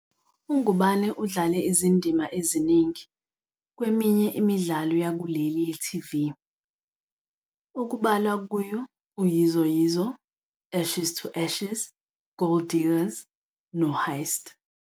UNgubane udlale izindima eziningi kweminye imidlalo yakuleli ye-TV, okubalwa kuyo "uYizo Yizo", "Ashes to Ashes", "Gold Diggers", "noHeist".